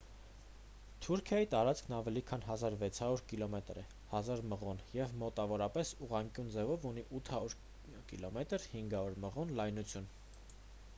թուրքիայի տարածքն ավելի քան 1,600 կիլոմետր է 1,000 մղոն և մոտավորապես ուղղանկյուն ձևով ունի 800 կմ 500 մղոն լայնություն: